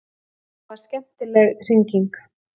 Þetta var skemmtileg hringing.